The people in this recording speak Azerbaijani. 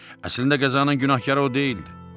Əslində qəzanın günahkarı o deyildi.